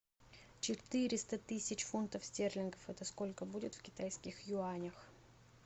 четыреста тысяч фунтов стерлингов это сколько будет в китайских юанях